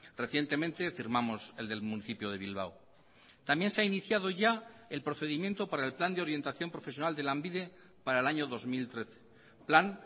recientemente firmamos el del municipio de bilbao también se ha iniciado ya el procedimiento para el plan de orientación profesional de lanbide para el año dos mil trece plan